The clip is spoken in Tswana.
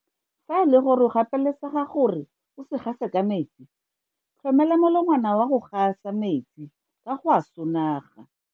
Fa e le gore o gapeletsega gore o se gase ka metsi, tlhomela molongwana wa go gasa metsi ka go a sonaga.